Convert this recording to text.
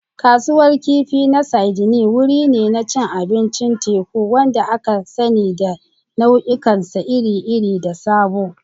Kasuwar Kifi na Sydney wuri ne na cin abincin teku, wanda aka sani da nau'ikansa iri-iri da sabo.